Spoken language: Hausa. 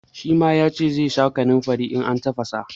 Shi ma ya ce zai sha kanunfari in an tafasa.